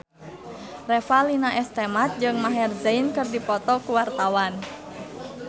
Revalina S. Temat jeung Maher Zein keur dipoto ku wartawan